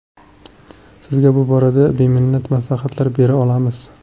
Sizga bu borada beminnat maslahatlar bera olamiz.